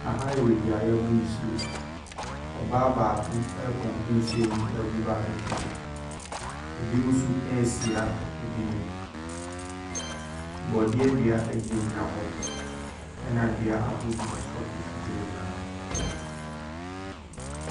Ahayɛ beaeɛ yɛ bu nsuo ɔbaa baako a pump pi nsuo ɛgu bucket mu ebi nom nso soa ebi nom bɔdeɛ dua gyina gyina ho ɛna dua ahorow nso gyina gyina ho.